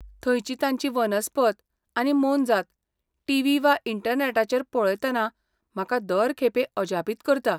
थंयची तांची वनस्पत आनी मोनजात टीव्ही वा इंटरनॅटाचेर पळयतना म्हाका दर खेपे अजापीत करता.